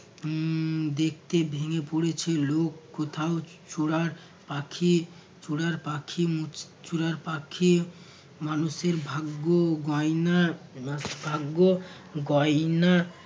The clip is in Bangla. হম দেখতে ভেঙে পড়েছে লোক। কোথাও চুরার পাখি চুরার পাখি মুচ চুরার পাখি মানুষের ভাগ্য গয়না ভাগ্য গয়না